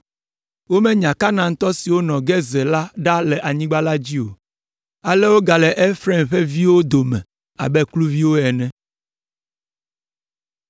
Womenya Kanaantɔ siwo nɔ Gezer la ɖa le anyigba la dzi o, ale wogale Efraim ƒe viwo dome abe kluviwo ene.